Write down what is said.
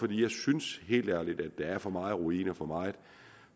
jeg synes helt ærligt der er for meget ruin og for meget